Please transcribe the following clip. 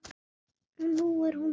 Og nú er hún hér.